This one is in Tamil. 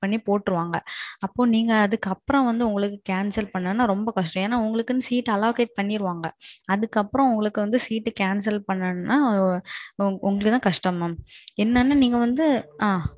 போற்றுவாங்க. அப்போ நீங்க அதுக்கு அப்பறோம் வந்து ரத்து பண்ணா ரொம்ப கஷ்டம் ஏன்னா உங்களுக்காக இருக்கைகள் ஒதுக்கீருவாங்க. அதுக்கு அப்பறோம் உங்களுக்கு வந்து இருக்கைய ரத்து பண்ணனும்னா உங்களுக்கு தான் கஷ்டம் மாம். நீங்க வந்து. ஆ.